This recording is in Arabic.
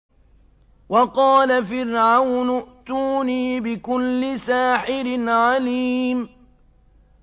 وَقَالَ فِرْعَوْنُ ائْتُونِي بِكُلِّ سَاحِرٍ عَلِيمٍ